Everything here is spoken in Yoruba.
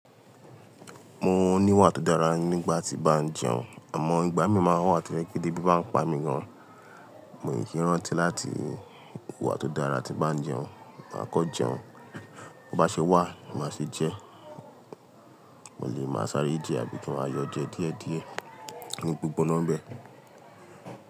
Mo ní wà tó dára nígbà tí bá ń jẹun, àmọ́ ìgbà mí máa ń wà tó jẹ́ pé tebí bá ń pa mi gan. Mo kì í rántí láti hùwà tó dára tí bá ń jẹun, máa kọ́ jẹun. Bí bá ṣe wà, màá ṣe jẹ. Mo lè máa sáré jẹ àbí kún wa yọ jẹ díẹ̀ díẹ̀ ní gbogbo nọ́m bẹ̀